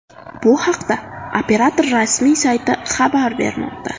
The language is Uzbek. Bu haqda operator rasmiy sayti habar bermoqda.